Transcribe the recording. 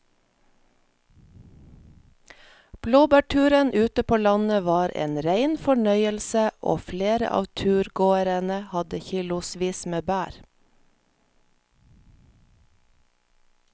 Blåbærturen ute på landet var en rein fornøyelse og flere av turgåerene hadde kilosvis med bær.